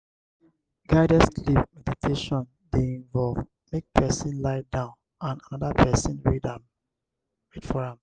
guided sleep meditation de involve make persin lie down and another persin read for am